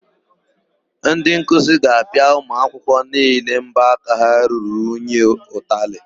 Ndị nkuzi ga-apịa ụmụakwụkwọ niile mbọaka ha ruru unyi ụtalị.